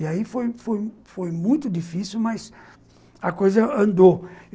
E aí foi muito difícil, mas a coisa andou.